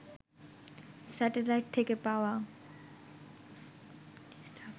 satellite থেকে পাওয়া